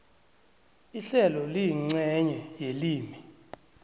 ihlelo liyincenye yelimi